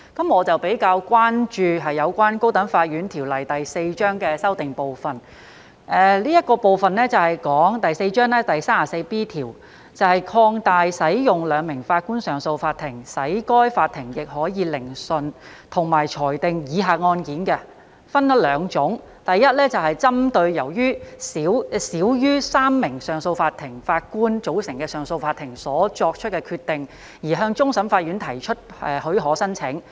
我比較關注有關《高等法院條例》的修訂部分，這部分是有關第4章第 34B 條，即擴大使用兩名法官上訴法庭，使該法庭亦可以聆訊，以及裁定以下案件，分為兩種，第一，針對由少於3名上訴法庭法官組成的上訴法庭所作的決定而要求批予向終審法院提出上訴許可申請。